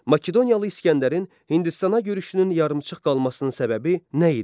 Makedoniyalı İsgəndərin Hindistana görüşünün yarımçıq qalmasının səbəbi nə idi?